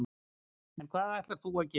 En hvað ætlar þú að gera?